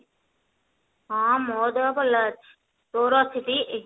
ହଁ ମୋ ଦେହ ଭଲ ଅଛି ତୋର ଅଛି ଟି